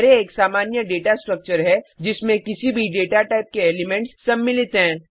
array एक सामान्य data structure है जिसमें किसी भी डेटा टाइप के एलिमेंट्स सम्मिलित हैं